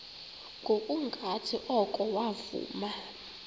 ngokungathi oko wavuma